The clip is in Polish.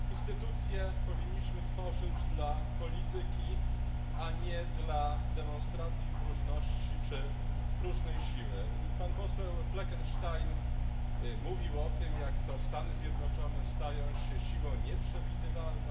Panie Przewodniczący! Instytucje powinniśmy tworzyć dla polityki, a nie dla demonstracji próżności czy próżnej siły. Pan poseł Fleckenstein mówił o tym, jak to Stany Zjednoczone stają się siłą nieprzewidywalną.